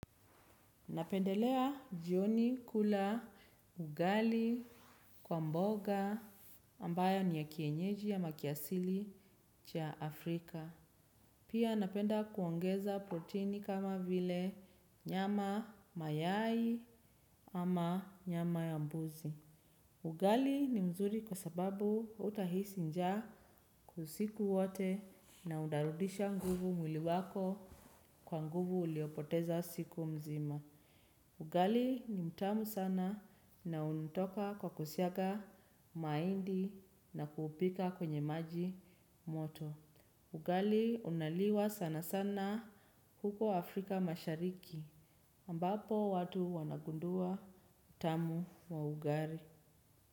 Napendelea jioni kula ugali kwa mboga ambayo ni ya kienyeji ama kiasili cha Afrika. Pia napenda kuongeza protini kama vile nyama mayai ama nyama ya mbuzi. Ugali ni mzuri kwa sababu hautahisi nja usiku wote na utarudisha nguvu mwili wako kwa nguvu uliopoteza siku mzima. Ugali ni mtamu sana na unatoka kwa kusiaga mahindi na kuupika kwenye maji moto. Ugali unaliwa sana sana huko Afrika mashariki ambapo watu wanagundua utamu wa ugali.